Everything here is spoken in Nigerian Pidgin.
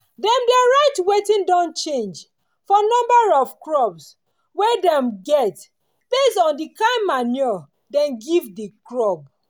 dem dey write wetin don change for number of crop we dem get based on di kin manure dem give di crop.